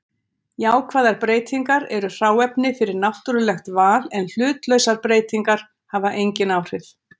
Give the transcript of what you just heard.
Jákvæðar breytingar eru hráefni fyrir náttúrulegt val en hlutlausar breytingar hafa engin áhrif.